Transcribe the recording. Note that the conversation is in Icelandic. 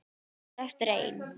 Þau standa eftir ein.